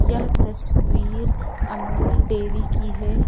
यह तस्वीर अमूल डेरी की है।